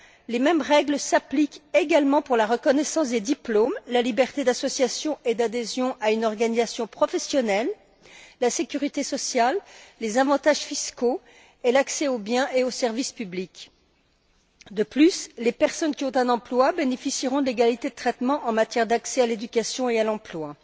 Les mêmes règles s'appliquent également pour la reconnaissance des diplômes, la liberté d'association et d'adhésion à une organisation professionnelle, la sécurité sociale, les avantages fiscaux et l'accès aux biens et aux services publics. De plus, les personnes qui ont un emploi bénéficieront de l'égalité de traitement en matière d'accès à l'éducation et à l'emploi.